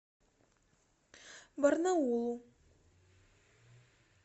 барнаулу